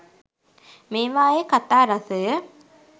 මේවායේ කතා රසය